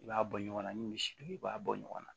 I b'a bɔ ɲɔgɔnna ni misi don i b'a bɔ ɲɔgɔn na